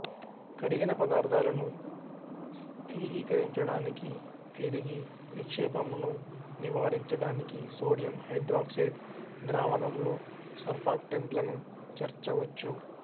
కరిగిన పదార్థాలను స్థిరీకరించడానికి తిరిగి నిక్షేపమును నివారించడానికి సోడియం హైడ్రాక్సైడ్ ద్రావణంలో సర్ఫాక్టెంట్లను చేర్చవచ్చు